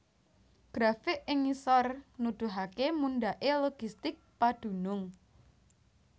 Grafik ing ngisor nuduhaké mundhaké logistik padunung